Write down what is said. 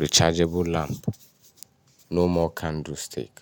rechargeable lamp. No more candle stick.